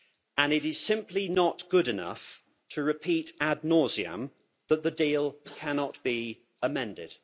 And it is simply not good enough to repeat ad nauseam that the deal cannot be amended.